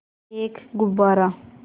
एक गुब्बारा